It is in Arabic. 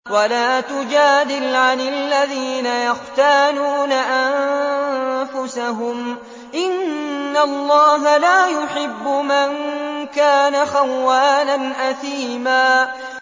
وَلَا تُجَادِلْ عَنِ الَّذِينَ يَخْتَانُونَ أَنفُسَهُمْ ۚ إِنَّ اللَّهَ لَا يُحِبُّ مَن كَانَ خَوَّانًا أَثِيمًا